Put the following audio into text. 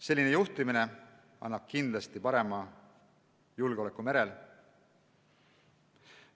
Selline juhtimine tagab kindlasti parema julgeoleku merel.